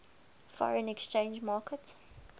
foreign exchange market